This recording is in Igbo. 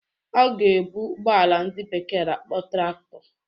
Ọ ga-ebu ụgbọala ndị bekee na-akpọ Traktọ